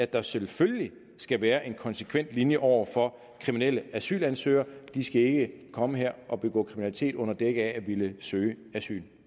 der selvfølgelig skal være en konsekvent linje over for kriminelle asylansøgere de skal ikke komme her og begå kriminalitet under dække af at ville søge asyl